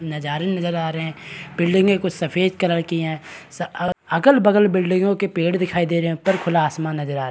नजारे नजर आ रहे हैं बिल्डिंगे कुछ सफेद कलर की हैं अगल-बगल बिल्डिंगों के पेड़ दिखाई दे रहे हैं ऊपर खुला आसमान नजर आ --